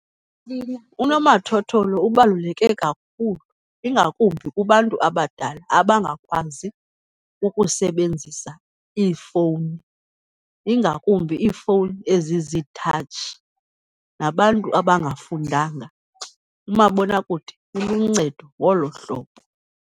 Unomathotholo ubaluleke kakhulu, ingakumbi kubantu abadala abangakwazi ukusebenzisa iifowuni, ingakumbi iifowuni eziziithatshi, nabantu abangafundanga, umabonwakude uluncedo ngolo hlobo.